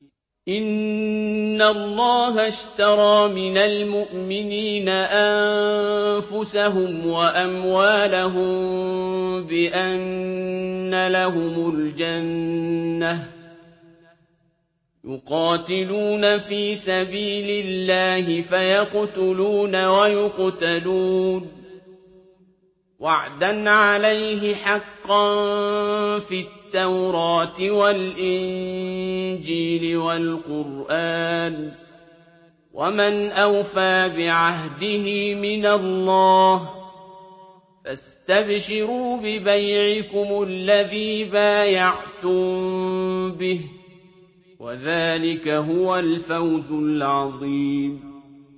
۞ إِنَّ اللَّهَ اشْتَرَىٰ مِنَ الْمُؤْمِنِينَ أَنفُسَهُمْ وَأَمْوَالَهُم بِأَنَّ لَهُمُ الْجَنَّةَ ۚ يُقَاتِلُونَ فِي سَبِيلِ اللَّهِ فَيَقْتُلُونَ وَيُقْتَلُونَ ۖ وَعْدًا عَلَيْهِ حَقًّا فِي التَّوْرَاةِ وَالْإِنجِيلِ وَالْقُرْآنِ ۚ وَمَنْ أَوْفَىٰ بِعَهْدِهِ مِنَ اللَّهِ ۚ فَاسْتَبْشِرُوا بِبَيْعِكُمُ الَّذِي بَايَعْتُم بِهِ ۚ وَذَٰلِكَ هُوَ الْفَوْزُ الْعَظِيمُ